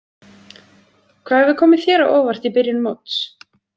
Hvað hefur komið þér á óvart í byrjun móts?